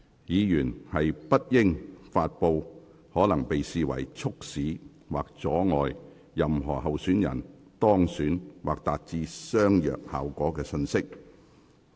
議員不應發布可能會被視為促使或阻礙任何候選人當選或達致相若效果的信息。